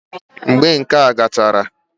Mgbe nka gachara